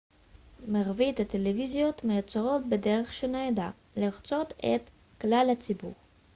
מרבית הטלוויזיות מיוצרות בדרך שנועדה לרצות את כלל הציבור